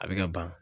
A bɛ ka ban